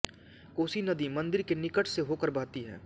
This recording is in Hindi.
कोसी नदी मन्दिर के निकट से होकर बहती है